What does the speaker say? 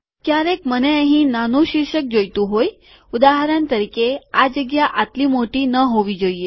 ક્યારેક મને અહીં નાનું શીર્ષક જોઈતું હોય ઉદાહરણ તરીકે આ જગ્યા આટલી મોટી ન હોવી જોઈએ